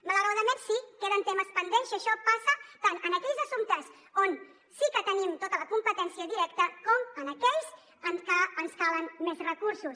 malauradament sí queden temes pendents i això passa tant en aquells assumptes on sí que tenim tota la competència directa com en aquells en què ens calen més recursos